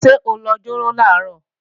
Ṣé o lọ jéró làárọ̀?